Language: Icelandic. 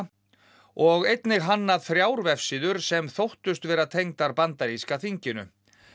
og einnig hannað þrjár vefsíður sem þóttust vera tengdar bandaríska þinginu